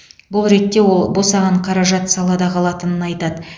бұл ретте ол босаған қаражат салада қалатынын айтады